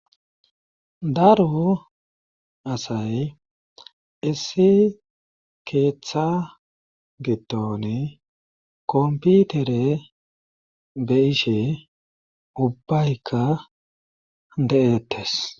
daru asay issi keeththa gitoni komputere be ishe ubbaykka de7ettes